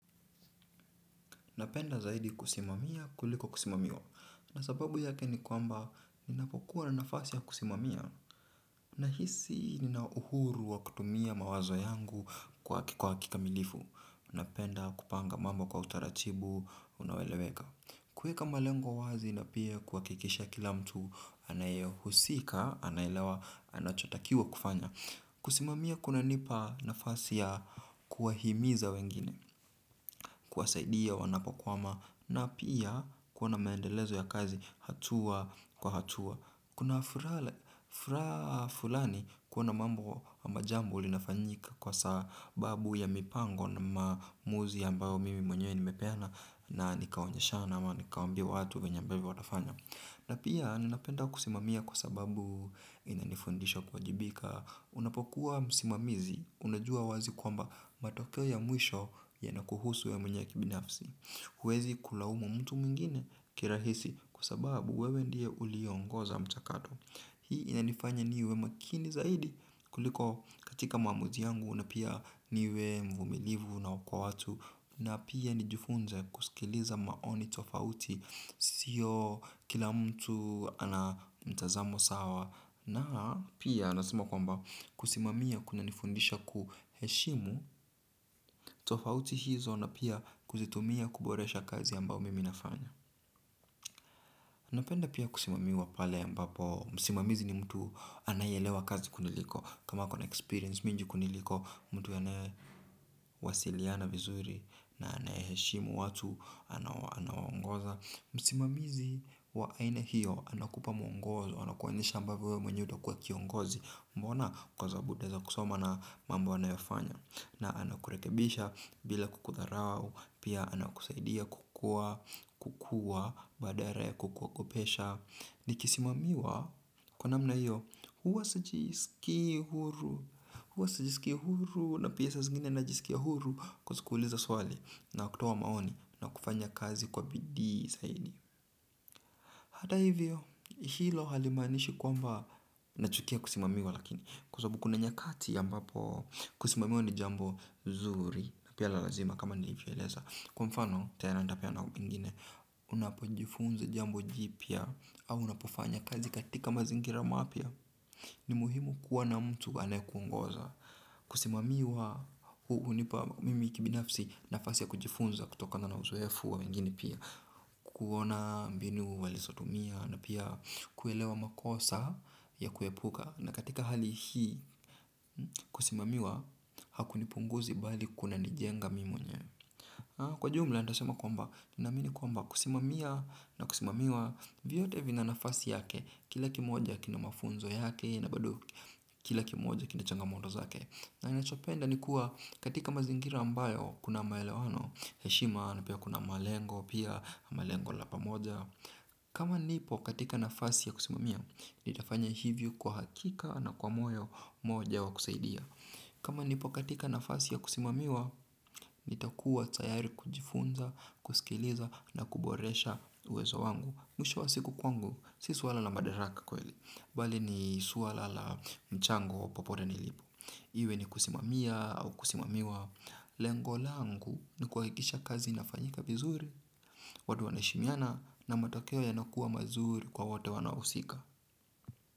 Napenda zaidi kusimamia kuliko kusimamiwa. Na sababu yake ni kwamba ninapokuwa na nafasi ya kusimamia. Nahisi nina uhuru wa kutumia mawazo yangu kwa kikamilifu. Napenda kupanga mambo kwa utaratibu unaoeleweka. Kuweka malengo wazi na pia kuhakikisha kila mtu anayehusika anaelewa anachotakiwa kufanya. Kusimamia kunanipa nafasi ya kuwahimiza wengine. Kuwasaidia wanapokwama na pia kuona maendelezo ya kazi hatua kwa hatua. Kuna furaha ffulani kuona mambo ama jambo linafanyika kwa sababu ya mipango na maamuzi ambayo mimi mwenyewe nimepeana na nikaonyesha ama nikaambia watu vyenye ambavyo watafanya. Na pia ninapenda kusimamia kwa sababu inanifundisha kuwajibika. Unapokuwa msimamizi, unajua wazi kwamba matokeo ya mwisho yanakuhusu wewe mwenye kibinafsi. Huwezi kulaumu mtu mwingine kirahisi kwa sababu wewe ndiye uliyeongoza mchakato. Hii inanifanya niwe makini zaidi kuliko katika maamuzi yangu na pia niwe mvumilivu kwa watu. Na pia nijifunze kusikiliza maoni tofauti siyo kila mtu ana mtazamo sawa na pia nasema kwamba kusimamia kunanifundisha kuheshimu tofauti hizo na pia kuzitumia kuboresha kazi ambayo mimi nafanya. Napenda pia kusimamiwa pale ambapo msimamizi ni mtu anayeelewa kazi kuniliko, kama ako na experience mingi kuniliko, mtu anayewasiliana vizuri na anayeheshimu watu anawaongoza, msimamizi wa aina hiyo anakupa mwongozo, anakuonyesha ambavyo wewe mwenyewe utakuwa kiongozi mbona kwa sababu utaweza kusoma na mambo anayofanya na anakurekebisha bila kukudharau, pia anakusaidia kukuwa, kukua badala ya kukuogopesha. Nikisimamiwa, kwa namna hiyo, huwa sijisikii huru, huwa sijisikii huru, na pia saa zingine najisikia huru kuuliza swali na kutoa maoni na kufanya kazi kwa bidii zaidi. Hata hivyo, hilo halimaanishi kwamba nachukia kusimamiwa lakini kwa sababu kuna nyakati ambapo kusimamiwa ni jambo zuri na pia la lazima kama nilivyoeleza kwa mfano, tena nitapeana ingine, unapojifunza jambo jipya au unapofanya kazi katika mazingira mapya. Ni muhimu kuwa na mtu anayekuongoza kusimamiwa hunipa mimi kibinafsi nafasi ya kujifunza kutokana na uzoefu wa wengine pia kuona mbinu walizotumia na pia kuelewa makosa ya kuepuka na katika hali hii, kusimamiwa hakunipunguzi bali kunanijenga mimi mwenyewe kwa jumla, nitasema kwamba ninaamini kwamba kusimamia na kusimamiwa vyote vina nafasi yake, kila kimoja kina mafunzo yake, na bado kila kimoja kina changamoto zake na ninachopenda ni kuwa katika mazingira ambayo kuna maelewano, heshima, na pia kuna malengo, pia malengo la pamoja. Kama nipo katika nafasi ya kusimamia, nitafanya hivyo kwa hakika na kwa moyo moja wa kusaidia. Kama nipo katika nafasi ya kusimamiwa, nitakuwa tayari kujifunza, kusikiliza na kuboresha uwezo wangu. Mwisho wa siku kwangu, si swala la madaraka kweli, bali ni swala la mchango popote nilipo. Iwe ni kusimamia au kusimamiwa lengo langu ni kuhahikisha kazi inafanyika vizuri, watu wanaheshimiana na matokeo yanakuwa mazuri kwa wote wanaohusika.